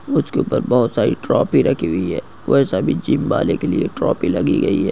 उसके ऊपर बहुत सारी ट्रॉफी रखी हुई है वह सभी वाले के लिए ट्रॉफी लगी गयी है।